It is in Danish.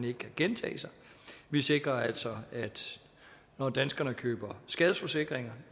ikke kan gentage sig vi sikrer altså at når danskerne køber skadesforsikringer